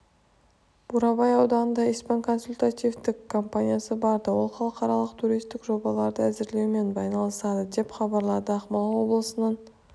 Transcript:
бурабай ауданына испан консультативтік компаниясы барды ол халықаралық туристік жобаларды әзірлеумен айналысады деп хабарлады ақмола облысының